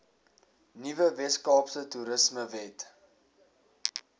nuwe weskaapse toerismewet